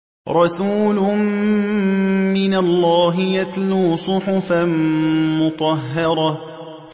رَسُولٌ مِّنَ اللَّهِ يَتْلُو صُحُفًا مُّطَهَّرَةً